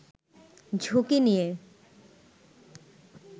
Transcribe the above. ঝুঁকি নিয়ে